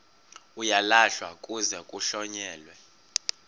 uyalahlwa kuze kuhlonyelwe